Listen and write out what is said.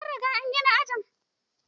An gina sabon aji.